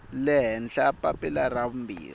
le henhla papila ra vumbirhi